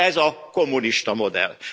Ez a kommunista modell.